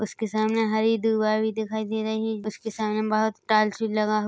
उसके सामने हरी दुर्वा भी दिखाई दे रही उसके सामने बहोत टाइल्स भी लगा हु--